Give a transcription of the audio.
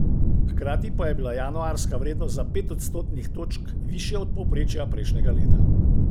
Hkrati pa je bila januarska vrednost za pet odstotnih točk višja od povprečja prejšnjega leta.